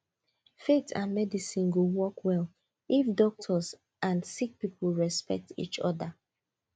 faith and medicine go work well if doctors and sick people respect each other